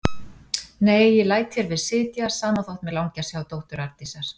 Nei, ég læt hér við sitja, sama þótt mig langi að sjá dóttur Arndísar.